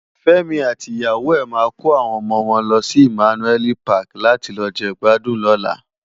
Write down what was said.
Femi àti iyàwó è má kó áwòn òmò wòn lòsi Immanuel Pàki làti lò je igbàdún lòlá